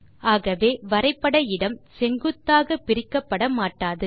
ஆகவே வரைபட இடம் செங்குத்தாக பிரிக்கப்பட மாட்டாது